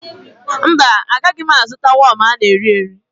Mba, agaghị m azụta wọm a na-erieri